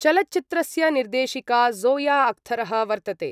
चलचित्रस्य निर्देशिका ज़ोया अख़्तरः वर्तते।